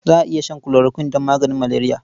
Za a iya shan chloroquine don maganin maleriya.